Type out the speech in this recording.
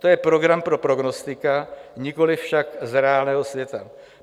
To je program pro prognostika, nikoli však z reálného světa.